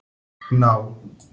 Gná